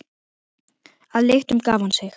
Að lyktum gaf hann sig.